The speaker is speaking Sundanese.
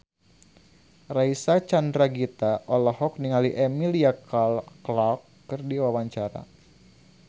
Reysa Chandragitta olohok ningali Emilia Clarke keur diwawancara